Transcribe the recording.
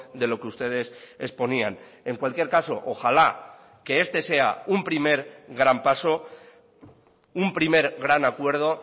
de lo que ustedes exponían en cualquier caso ojala que este sea un primer gran paso un primer gran acuerdo